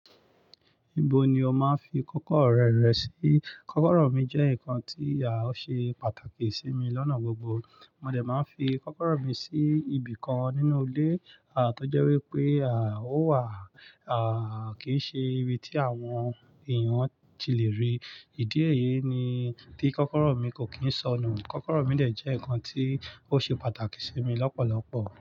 Ibo ni o máa ń fi kọ́kọ́rọ́ rẹ̀ rẹ̀ sí? Kọ́kọ́rọ́ mi jẹ́ nǹkan tí ó ṣe pàtàkì sí mi lọ́nà gbogbo. Mo dẹ̀ máa ń fi kọ́kọ́rọ́ mi sí ibìkan nínú ilé, à tó jẹ́ wípé à ó wà, à kí í ṣe ibi tí àwọn èèyàn ti lè rí. Ìdí èyí ni tí kọ́kọ́rọ́ mi kò kín sọnù. Kọ́kọ́rọ́ mi dẹ̀ jẹ́ nǹkan tí ó ṣe pàtàkì sí mi lọ́pọ̀lọ́pọ̀